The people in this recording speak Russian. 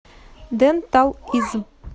ден тал из